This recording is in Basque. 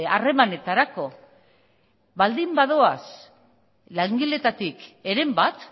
harremanetarako baldin badoaz langileetatik heren bat